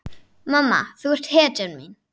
Mamma þú ert hetjan mín.